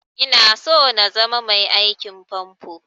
Ina so na zama mai aikin famfo